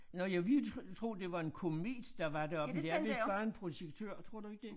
Nåh jeg ville jo tro tro det var en komet der var deroppe men det er vist bare en projektør tror du ikke det